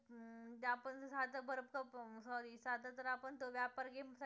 अं sorry साधं जर आपण तो व्यापार game खेळताना